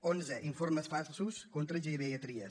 onze informes falsos contra xavier trias